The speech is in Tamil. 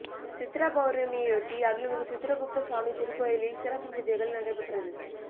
சித்ரா பௌர்ணமியையொட்டி அருள்மிகு சித்ரகுப்த சுவாமி திருக்கோயிலில் சிறப்பு பூஜைகள் நடைபெற்றது